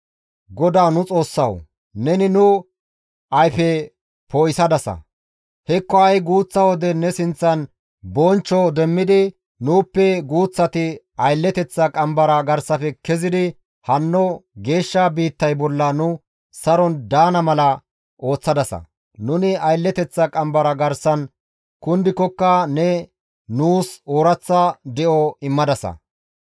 GODAWU nu Xoossawu! Neni nu ayfe poo7isadasa; hekko ha7i guuththa wode ne sinththan bonchcho demmidi nuuppe guuththati aylleteththa qambara garsafe kezidi hanno geeshsha biittay bolla nu saron daana mala ooththadasa; nuni aylleteththa qambara garsan kundikokka ne nuus ooraththa de7o immadasa.